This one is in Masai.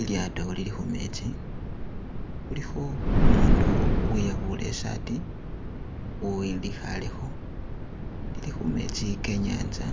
Ilyato lili khumetsi khulikho umundu weyabule isati uwulikhale kho lili khumetsi ke inyanza,